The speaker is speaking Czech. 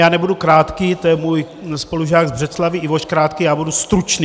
Já nebudu krátký, to je můj spolužák z Břeclavi Ivoš Krátký, já budu stručný.